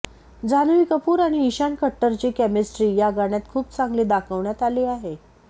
जान्हवी कपूर आणि ईशान खट्टरची केमिस्ट्री या गाण्यात खूप चांगली दाखवण्यात आली आहे